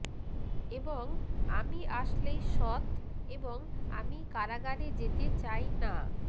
এবং আমি আসলেই সৎ এবং আমি কারাগারে যেতে চাই না